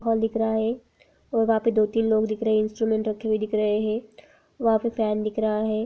हाल दिख रहा है और वहा पे दो तिन लोग दिखरहे है इन्स्ट्रमन्ट रखे हुए दिख रहे है वहां पे फेन दिख रहा है।